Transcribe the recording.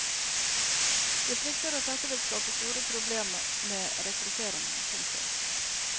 De frykter at dette vil skape store problemer med rekrutteringen. punktum